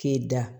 K'e da